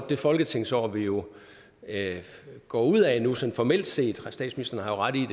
det folketingsår vi jo går ud af nu sådan formelt set statsministeren har ret i